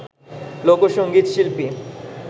লোকসঙ্গীত শিল্পী